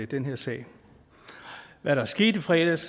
den her sag hvad der er sket i fredags